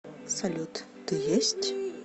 салют ты есть